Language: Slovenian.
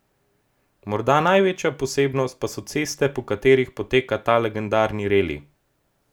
Morda največja posebnost pa so ceste po katerih poteka ta legendarni reli.